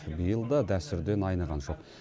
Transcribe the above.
биыл да дәстүрден айныған жоқ